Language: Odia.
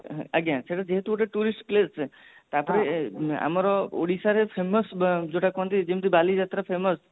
ଆଜ୍ଞା ସେଟ ଯେହେତୁ ଗୋଟେ tourist place ତା ପରେ ଆମର ଓଡିଶା ରେ famous ଯୋଉଟା କହନ୍ତି ବାଲି ଯାତ୍ରା famous